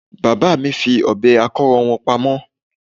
Bàbá mi fi Ọ̀bẹ akọ́rọ́ wọn pamọ́